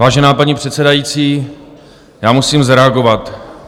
Vážená paní předsedající, já musím zareagovat.